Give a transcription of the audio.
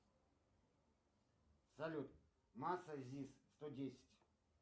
салют масса зис сто десять